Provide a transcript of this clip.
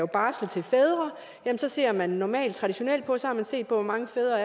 barsel til fædre så ser man normalt og traditionelt på hvor mange fædre